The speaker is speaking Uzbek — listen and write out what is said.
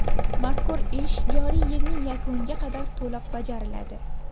Mazkur ish joriy yilning yakuniga qadar to‘liq bajariladi.